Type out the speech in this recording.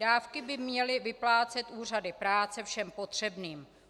Dávky by měly vyplácet úřady práce všem potřebným.